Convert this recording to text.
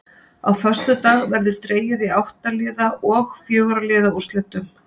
Á föstudag verður dregið í átta liða og fjögurra liða úrslit.